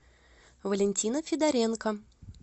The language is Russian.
валентина федоренко